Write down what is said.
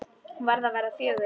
Hún var að verða fjögur.